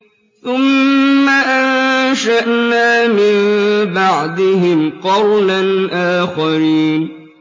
ثُمَّ أَنشَأْنَا مِن بَعْدِهِمْ قَرْنًا آخَرِينَ